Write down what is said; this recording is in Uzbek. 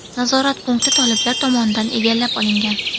Nazorat punkti toliblar tomonidan egallab olingan.